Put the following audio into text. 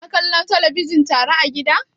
Kuna kallon talabijin tare a gida?